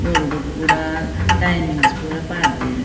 ಬೋರ್ಡುಡು ಪೂರ ಟೈಮಿಂಗ್ಸ್ ಪೂರ ಪಾರ್ದೆರ್.